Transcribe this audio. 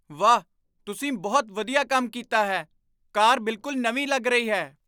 ਵਾਹ! ਤੁਸੀਂ ਬਹੁਤ ਵਧੀਆ ਕੰਮ ਕੀਤਾ ਹੈ। ਕਾਰ ਬਿਲਕੁਲ ਨਵੀਂ ਲੱਗ ਰਹੀ ਹੈ!